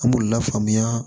An b'u lafaamuya